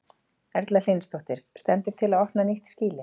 Erla Hlynsdóttir: Stendur til að opna nýtt skýli?